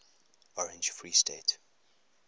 orange free state